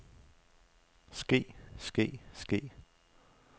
ske ske ske